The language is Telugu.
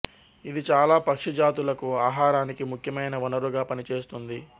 ఇది చాలా పక్షి జాతులకు ఆహారానికి ముఖ్యమైన వనరుగా పనిచేస్తుంది